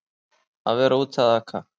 Að vera úti að aka